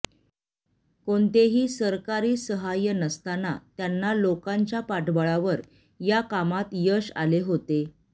कोणतेही सरकारी सहाय्य नसताना त्यांना लोकांच्या पाठबळावर या कामात यश आले होते